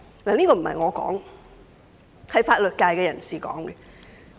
這並不是我說的，而是法律界人士的意見。